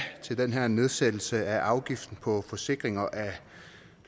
til den her nedsættelse af afgiften på forsikringer af